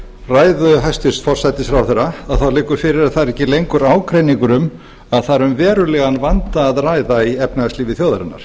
ræðu hæstvirts forsætisráðherra liggur fyrir að það er ekki lengur ágreiningur um að það er um verulegan vanda að ræða í efnahagslífi þjóðarinnar